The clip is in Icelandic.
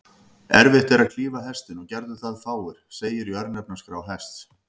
Erfitt er að klífa Hestinn, og gerðu það fáir, segir í örnefnaskrá Hests.